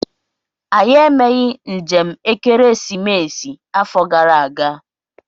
Anyị emeghị njem ekeresimesi afọ gara aga.